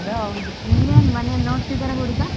ಅದ್ ಹೌದು, ನಿಂಗೇನು ಮನೆಯಲ್ಲಿ ನೋಡ್ತಿದ್ದಾರಾ ಹುಡುಗ.